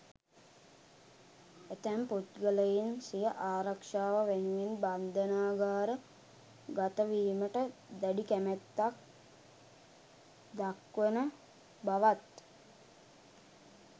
ඇතැම් පුද්ගලයින් සිය ආරක්ෂාව වෙනුවෙන් බන්ධනාගාර ගතවීමට දැඩි කැමැත්තක් දක්වන බවත්